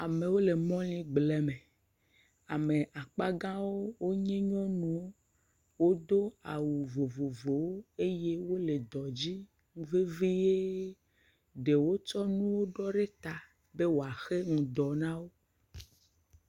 Amewo le mɔligblẽme, ame akpagawo nye nyɔnuwo, wodo awu vovovowo, wole dɔ dzi vevie, ɖewo tsɔ nuwo ɖɔ ɖe ta be woaxe ŋɖɔ na wo.